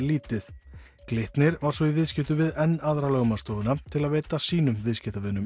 lítið Glitnir var svo í viðskiptum við enn aðra lögmannsstofuna til að veita sínum viðskiptavinum